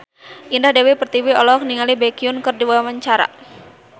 Indah Dewi Pertiwi olohok ningali Baekhyun keur diwawancara